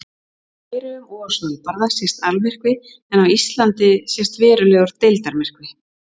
Í Færeyjum og á Svalbarða sést almyrkvi en á Íslandi sést verulegur deildarmyrkvi.